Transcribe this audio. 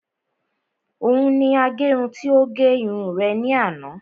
Òun ni agẹrun tí ó gẹ irun rẹ̀ ní àná